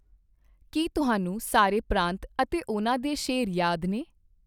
ਕੀ ਤੁਹਾਨੂੰ ਸਾਰੇ ਪ੍ਰਾਂਤ ਅਤੇ ਓਹ੍ਨਾ ਦੇ ਸ਼ੇਰ ਯਾਦ ਨੇ?